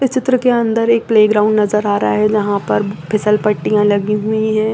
इस चित्र के अंदर एक प्लेग्राउंड नज़र आ रहा है जहाँ पर फिसल पट्टीयां लगी हुई है।